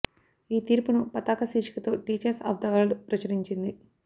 ఈ తీర్పును పతాక శీర్షికతో టీచర్స్ ఆఫ్ ది వరల్డ్ ప్రచురించింది